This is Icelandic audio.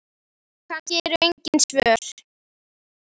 Kannski eru engin svör.